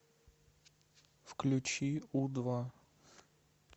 включи у два